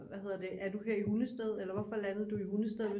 Hvad hedder det er du her i Hundested eller hvorfor landede du i Hundested